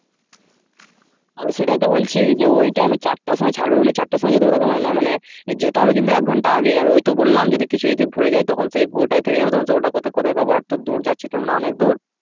আমি সেটাই তো বলছি যে ওই টাইমে চারটার সময় ছাড়বে বলে চারটায় যেতে হবে। ওরকম না মানে যেতে হবে কিন্তু এক ঘণ্টা আগে আমি ওই তো বললাম যদি কিছু যদি ভুলে যায়। তখন সেই ওইটায় থেকে যাবে তখন তো ওটা কোথায় পাবো আর তো দূর যাচ্ছি তো আমরা অনেক দূর।